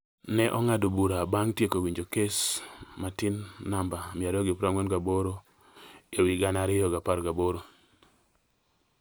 ne ong'ado bura bang’ tieko winjo kes matin namba 248/2018